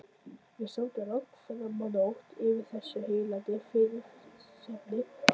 Við sátum langt framá nótt yfir þessu heillandi viðfangsefni.